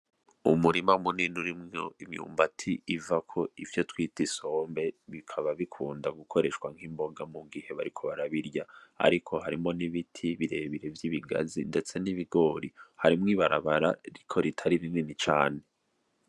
Umurima munini urimwo imyumbati ivako ibyo twita Isombe bikaba bikunda gukoreshwa nk’imboga mu gihe bariko barabirya . Ariko harimwo n’ibiti birebire vy’ibigazi ndetse n’ibigori , harimwo ibarabara ariko ritari rinini cane .